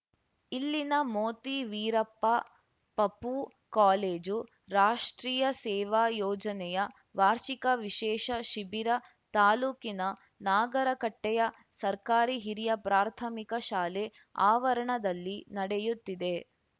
ಇಲ್ಲಿನ ಮೋತಿ ವೀರಪ್ಪ ಪಪೂ ಕಾಲೇಜು ರಾಷ್ಟ್ರೀಯ ಸೇವಾ ಯೋಜನೆಯ ವಾರ್ಷಿಕ ವಿಶೇಷ ಶಿಬಿರ ತಾಲೂಕಿನ ನಾಗರಕಟ್ಟೆಯ ಸರ್ಕಾರಿ ಹಿರಿಯ ಪ್ರಾಥಮಿಕ ಶಾಲೆ ಆವರಣದಲ್ಲಿ ನಡೆಯುತ್ತಿದೆ